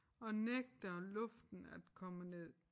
Og nægter luften at komme ned